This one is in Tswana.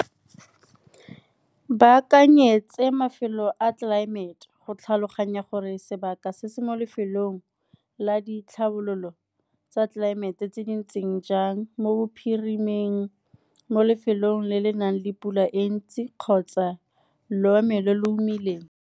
Ba akanyetse mafelo a tlelaemete go tlhaloganya gore sebaka se se mo lefelong la ditlhabololo tsa tlelaemete tse di ntseng jang mo bophirimeng, mo lefelong le le nang le pula e ntsi kgotsa lo lo omileng.